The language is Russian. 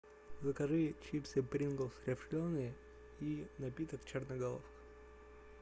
закажи чипсы принглс рифленые и напиток черноголовка